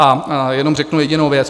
A jenom řeknu jedinou věc.